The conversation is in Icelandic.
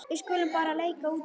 Við skulum bara leika úti.